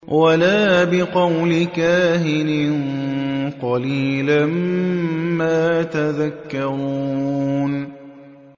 وَلَا بِقَوْلِ كَاهِنٍ ۚ قَلِيلًا مَّا تَذَكَّرُونَ